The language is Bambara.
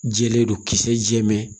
Jɛlen don kisɛ jɛman